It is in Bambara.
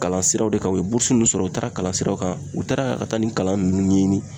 Kalan siraw de kan u ye mun sɔrɔ u taara kalan siraw kan, u taara ka taa nin kalan nunnu ɲɛɲini.